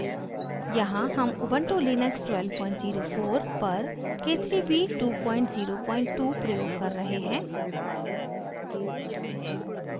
यहाँ हम ubuntu Linux 1204 पर k3b 202 प्रयोग कर रहे हैं